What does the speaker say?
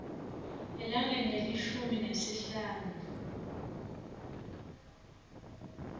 elangeni lelishumi nesihlanu